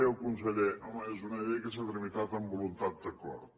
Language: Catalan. deia el conseller home és una llei que s’ha tramitat amb voluntat d’acord